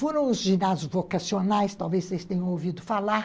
Foram os ginásios vocacionais, talvez vocês tenham ouvido falar,